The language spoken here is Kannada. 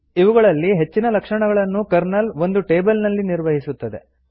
ಇವುಗಳಲ್ಲಿ ಹೆಚ್ಚಿನ ಲಕ್ಷಣಗಳನ್ನು ಕರ್ನಲ್ ಒಂದು ಟೇಬಲ್ ನಲ್ಲಿ ನಿರ್ವಹಿಸುತ್ತದೆ